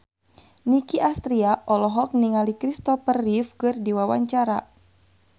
Nicky Astria olohok ningali Christopher Reeve keur diwawancara